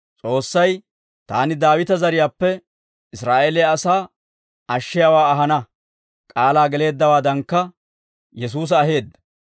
«S'oossay, ‹Taani Daawita zariyaappe Israa'eeliyaa asaa ashshiyaawaa ahana› k'aalaa geleeddawaadankka, Yesuusa aheedda.